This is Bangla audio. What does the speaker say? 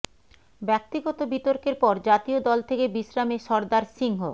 ব্যাক্তিগত বিতর্কের পর জাতীয় দল থেকে বিশ্রামে সর্দার সিংহ